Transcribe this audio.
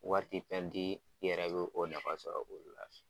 Waati fɛndi i yɛrɛ bɛ o nafa sɔrɔ olu la.